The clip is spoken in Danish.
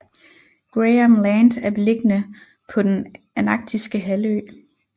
Graham Land er beliggende på den Antarktiske halvø